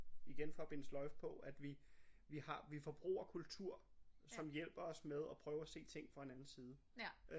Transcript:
Igen for at binde sløjfe på at vi vi har vi forbruger kultur som hjælper os med at prøve at se ting fra en anden side